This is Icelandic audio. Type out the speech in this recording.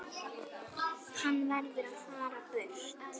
Hann verður að fara burt.